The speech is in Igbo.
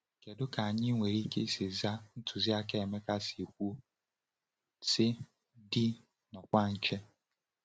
Kedu ka anyị nwere ike isi zaa ntụziaka Emeka si kwuo, sị “dị n’ọkwa nche”?